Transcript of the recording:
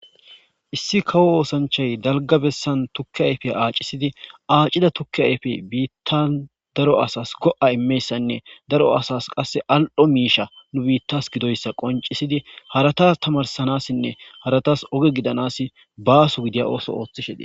Issi kawo oththanichchayi daligga bessani tuke ayiffe accisidi acida tuke ayiffe bitanni daro asasi go'a immoyassane dar asas qaa al''o mishsha gidoyissa nuu bitas qoniccidi besses.